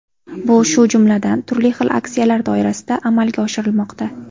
Bu shu jumladan, turli xil aksiyalar doirasida amalga oshirilmoqda.